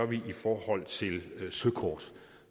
vi gør i forhold til søkort